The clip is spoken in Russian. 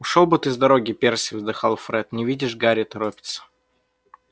ушёл бы ты с дороги перси вздыхал фред не видишь гарри торопится